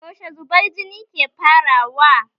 Yaushe zubar jini ke farawa?